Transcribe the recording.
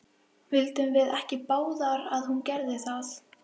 Vildum við ekki báðar að hún gerði það?